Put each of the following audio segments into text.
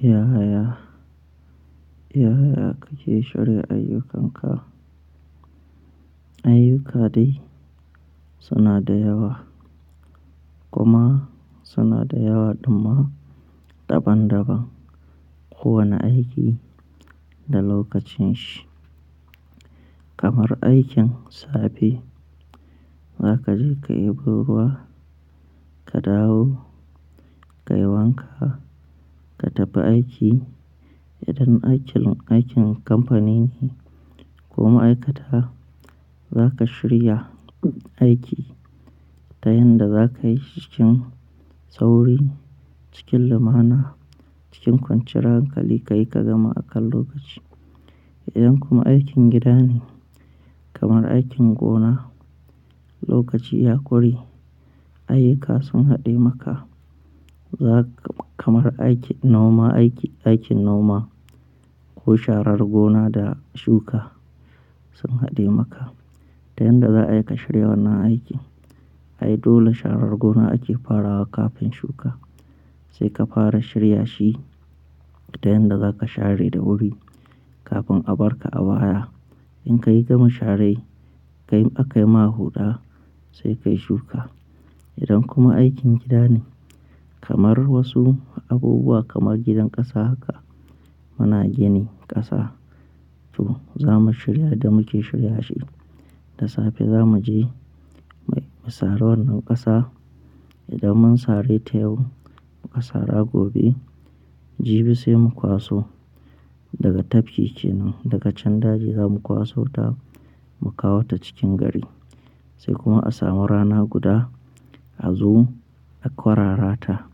Yaya, yaya kake shirya ayyukanka? Ayyuka dai suna da yawa kuma suna da yawa, ɗumma, daban-daban, kowane aiki da lokacinshi. Kamar aikin safe, za ka je ka yi buruwa, ka dawo, ka yi wanka, ka tafi aiki. Idan aikin, aikin kamfani ne ko ma'aikata, za ka shirya aiki ta yanda za ka yi shi cikin sauri, cikin lamuna, cikin kwanciyar hankali ka yi ka gama akan lokaci. Idan kuma aikin gida ne kamar aikin gona, lokaci ya ƙure, ayyuka sun haɗe maka. Za ka kamar aiki noma aiki, aikin noma ko sharar gona da shuka sun haɗe maka. Ta yanda za ka shirya wannan aiki? Ai dole sharar gona ake farawa kafin shuka. Sai ka fara shirya shi ta yanda za ka share da wuri kafin a barka awara. In ka yi gama sharai, ka yi aka yi ma huɗa sai ka yi shuka. Idan kuma aikin gida ne kamar wasu abubuwa kamar gidan ƙasa haka, muna gini ƙasa, to za mu shirya yadda muke shirya shi. Da safe za mu je mu sare wannan ƙasa. Idan mun sare ta yau, mu ƙasara gobe, jibi sai mu kwaso daga tafki kenan, daga can daji za mu kwaso ta mu kawo ta cikin gari. Sai kuma a samu rana guda a zo a kwarara ta.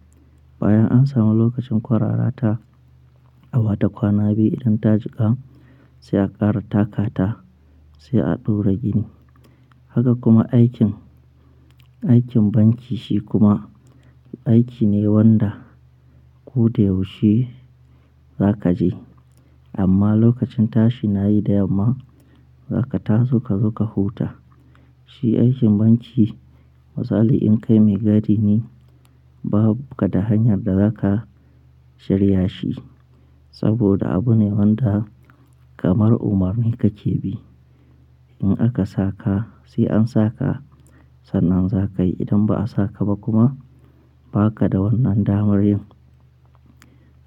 Bayan an samu lokacin kwarara ta, a wata kwana biyu idan ta jika sai a ƙara taka ta sai a ɗura gini. Haka kuma aikin, aikin banki shi kuma aiki ne wanda ko da yaushe za ka je. Amma lokacin tashi na yi da yamma, za ka taru ka zo ka huta. Shi aikin banki misali in kai maigadi ne, babu ka da hanyar da za ka shirya shi. Saboda abu ne wanda kamar umarni ka ke bi. In aka saka sai an saka, sannan za ka yi. Idan ba a saka ba kuma ba ka da wannan damar yin.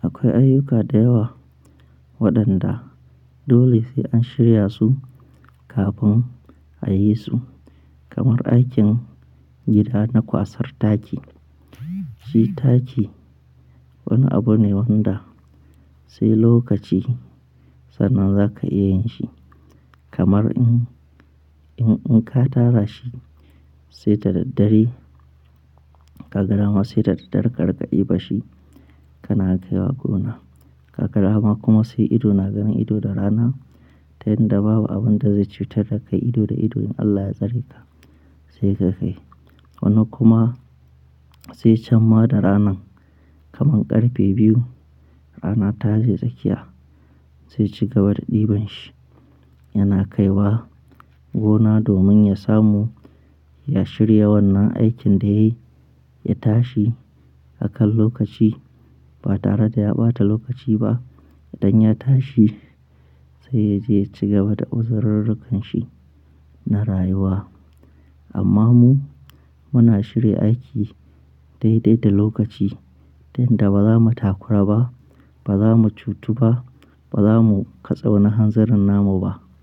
Akwai ayyuka da yawa waɗanda dole sai an shirya su kafin a yi su. Kamar aikin gida na kwasar taki. Shi taki wani abu ne wanda sai lokaci sannan za ka iya yin shi. Kamar in, in, in ka tara shi sai da daddare ka ga dama sai da daddare ka ƙarƙaɗe bashi kana kaiwa gona. Ka ga dama kuma sai ido na ganin ido da rana, ta yanda babu abun da zai cutar da kai ido da ido in Allah ya tsare ka sai ka kai. Wani kuma sai can ma da ranan kamar ƙarfe biyu rana ta je tsakiya sai ci gaba da ɗiban shi yana kaiwa gona domin ya samu ya shirya wannan aikin da ya yi, ya tashi akan lokaci ba tare da ya ɓata lokaci ba. Idan ya tashi sai ya je ya cigaba da uzirurrukanshi na rayuwa. Amma mu muna shirya aiki daidai da lokaci, tunda ba za mu takura ba, ba za mu cutu ba, ba za mu katse wani hanzarin namu ba.